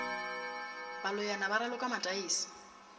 ba loyana ba raloka mataese